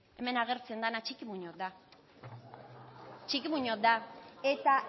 hemen agertzen dana txiki muñoz da txiki muñoz da eta